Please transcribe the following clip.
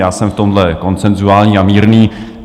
Já jsem v tomhle konsenzuální a mírný.